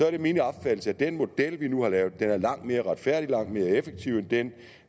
er min opfattelse at den model vi nu har lavet er langt mere retfærdig og langt mere effektiv end den